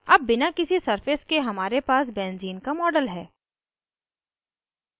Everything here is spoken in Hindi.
अब बिना किसी surfaces के हमारे पर benzene का model है